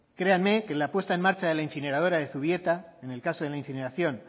créanme que la puesta en marcha de la incineradora de zubieta en el caso de la incineración